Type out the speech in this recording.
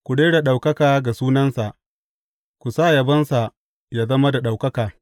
Ku rera ɗaukaka ga sunansa; ku sa yabonsa yă zama da ɗaukaka!